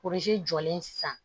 jɔlen sisan